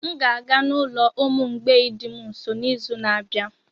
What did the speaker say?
M ga-aga n'ulo ụmụ mgbei dị m nso n'izu na-abịa.